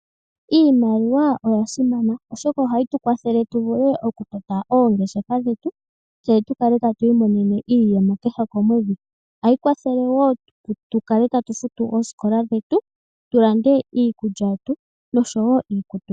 Iimaliwa oya simana oshoka ohayi tu kwathele oku tota oongeshefa dhetu etatu kale tatu imonene iiyemo kehe komedhi. Ohayi tu kwathele wo tu kale tatu futu oosikola, oku landa iikutu noshowo iikulya.